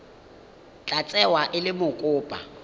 tla tsewa e le mokopa